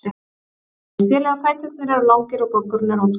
Bæði stélið og fæturnir eru langir og goggurinn er oddhvass.